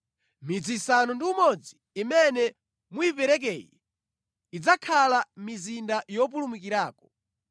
Midzi isanu ndi umodzi imene muyiperekeyi idzakhala mizinda yopulumukirako.